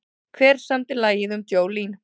Hver samdi lagið um Jolene?